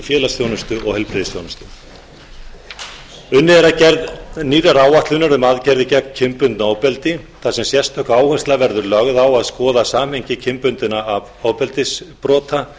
félagsþjónustu og heilbrigðisþjónustu unnið er að gerð nýrrar áætlunar um aðgerðir gegn kynbundnu ofbeldi þar sem sérstök áhersla verður lögð á að skoða samhengi kynbundinna ofbeldisbrota